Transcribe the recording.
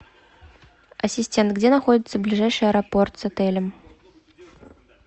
ассистент где находится ближайший аэропорт с отелем